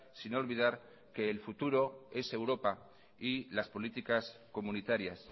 sin olvidar que el futuro es europa y las políticas comunitarias